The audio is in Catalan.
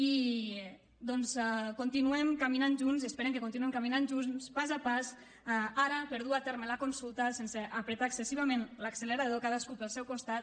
i continuem caminant junts esperem que continuem caminant junts pas a pas ara per dur a terme la consulta sense prémer excessivament l’accelerador cadascú pel seu costat